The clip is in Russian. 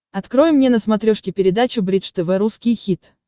открой мне на смотрешке передачу бридж тв русский хит